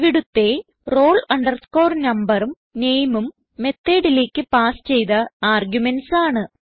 ഇവിടുത്തെ roll numberഉം nameഉം methodലേക്ക് പാസ് ചെയ്ത ആർഗുമെന്റ്സ് ആണ്